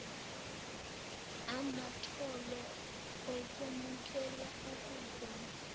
amatulo okwemukela okuvuma